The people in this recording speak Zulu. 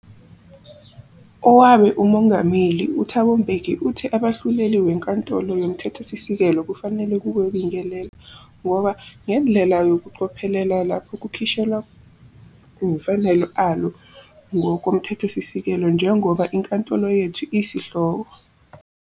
Owabe uMongameli uThabo Mbeki uthe abahluleli weNkantolo yoMthethosisekelo kufanele kube "bingelela" ngoba "ngendlela ngokucophelela lapho kukhishelwa yemfanelo alo ngokoMthethosisekelo njengoba inkantolo yethu isihloko".